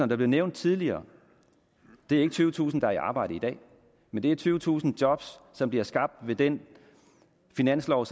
der blev nævnt tidligere er ikke tyvetusind personer der er i arbejde i dag men det er tyvetusind job som bliver skabt ved den finanslov